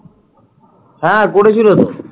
হ্যাঁ করেছিল তো ।